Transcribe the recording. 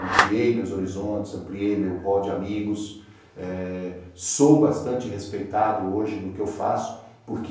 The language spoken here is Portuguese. ampliei meus horizontes, ampliei meu rol de amigos, eh sou bastante respeitado hoje no que eu faço, porque